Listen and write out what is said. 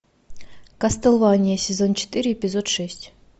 кастлвания сезон четыре эпизод шесть